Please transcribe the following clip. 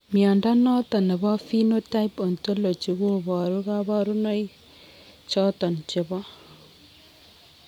Mnyondo noton nebo Phenotype Ontology koboru kabarunaik choton chebo